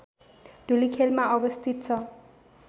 धुलिखेलमा अवस्थित छ